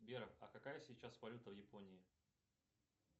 сбер а какая сейчас валюта в японии